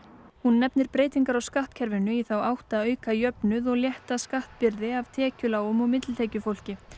hún nefnir breytingar á skattkerfinu í þá átt að auka jöfnuð og létta skattbyrði af tekjulágum og millitekjufólki